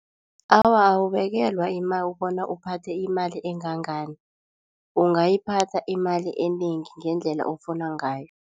Awa, awubekelwa imali bona uphathe imali engangani, ungayiphatha imali enengi ngendlela ofuna ngayo.